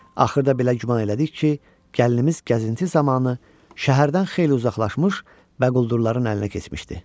Axırda belə güman elədik ki, gəlinimiz gəzinti zamanı şəhərdən xeyli uzaqlaşmış bəquldurların əlinə keçmişdi.